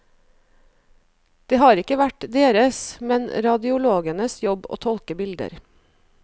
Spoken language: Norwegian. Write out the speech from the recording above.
Det har ikke vært deres, men radiologenes jobb å tolke bilder.